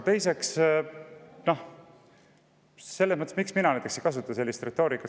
Teiseks, miks mina ei kasuta sellist retoorikat?